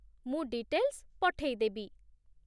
ମୁଁ ଡିଟେଲ୍‌ସ୍ ପଠେଇ ଦେବି।